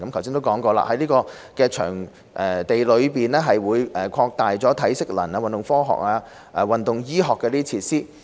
正如剛才提及，新的訓練場地將擴大體適能、運動科學及運動醫學的設施。